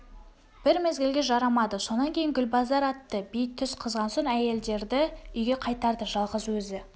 бір мезгілге жарамады сонан кейін гүлбазар атты би түс қызған соң әйелдерді үйге қайтарды жалғыз өзі